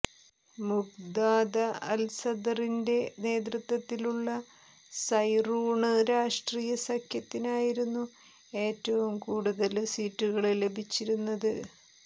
മുഖ്താദ അല്സദറിന്റെ നേതൃത്വത്തിലുള്ള സൈറൂണ് രാഷ്ട്രീയ സഖ്യത്തിനായിരുന്നു ഏറ്റവും കൂടുതല് സീറ്റുകള് ലഭിച്ചിരുന്നത്